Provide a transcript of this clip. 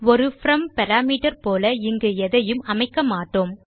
ஒரு from parameter போல இங்கு எதையும் அமைக்க மாட்டோம்